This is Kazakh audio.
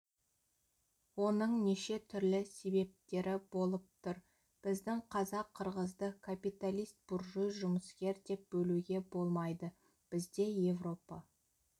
оның неше түрлі себептері болып тұр біздің қазақ-қырғызды капиталист буржуй жұмыскер деп бөлуге болмайды бізде европа